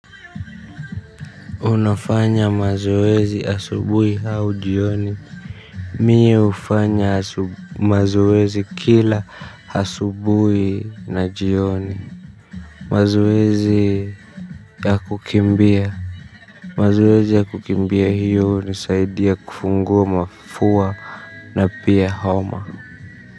Unafanya mazoezi asubui hau jioni. Mie ufanya mazoezi kila asubui na jioni. Mazoezi ya kukimbia mazoezi ya kukimbia hiyo ni saidia kufungua mafua na pia homa.